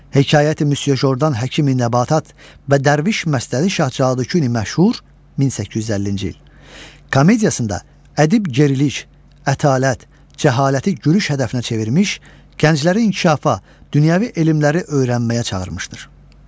Hekayəti Müsyö Jordandan Həkimi Nəbatat və Dərviş Məstəli Şah Cadüküni (məşhur 1850-ci il) komediyasında ədib gerilik, ətalət, cəhaləti gülüş hədəfinə çevirmiş, gəncləri inkişafa, dünyəvi elmləri öyrənməyə çağırmışdır.